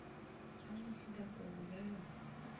анна седокова яжемать